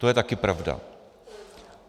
To je také pravda.